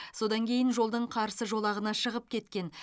содан кейін жолдың қарсы жолағына шығып кеткен